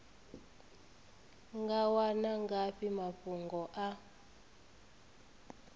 nga wana ngafhi mafhungo a